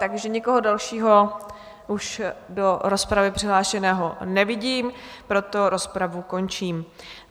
Takže nikoho dalšího už do rozpravy přihlášeného nevidím, proto rozpravu končím.